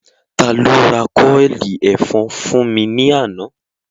Ta ló ra kọ́ọ̀lì ẹ̀fọn fún mi ní àná?